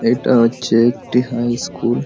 এটা হচ্ছে একটি হাই স্কুল ।